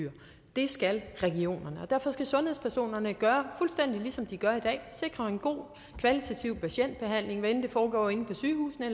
det skal regionerne derfor skal sundhedspersonerne gøre fuldstændig ligesom de gør i dag sikre en god kvalitativ patientbehandling hvad enten det foregår inde på sygehusene